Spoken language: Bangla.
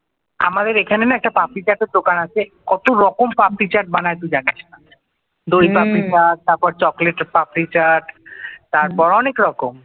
আমাদের এখানে না একটা পাপড়ি চার্টের দোকান আছে কত রকম পাপড়ি চাট বানাই তুই জানিস না দই পাপড়ি চাট তারপর চকলেট পাপরি চাট তারপর অনেক রকম